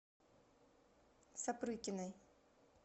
сапрыкиной